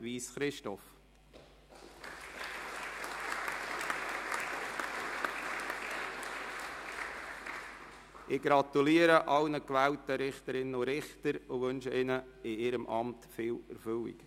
Ich gratuliere allen gewählten Richterinnen und Richtern und wünsche ihnen in ihrem Amt viel Erfüllung.